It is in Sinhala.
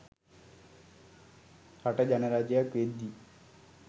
රට ජනරජයක් වෙද්දි